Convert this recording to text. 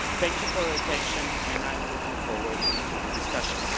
Thank you for attention and I'm looking forward to our discussion.